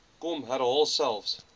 hom herhaal selfs